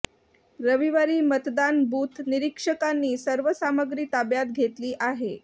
रविवारी मतदान बूथ निरीक्षकांनी सर्व सामग्री ताब्यात घेतली आहे